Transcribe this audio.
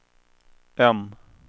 M